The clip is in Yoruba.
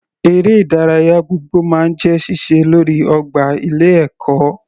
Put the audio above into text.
Eré ìdárayá gbogbo máa ń jẹ́ síse lórí ọgbà ilé ẹ̀kọ́.